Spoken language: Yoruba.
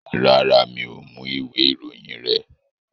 Rárá, mi ò mú ìwé ìròyìn rẹ.